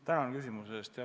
Tänan küsimuse eest!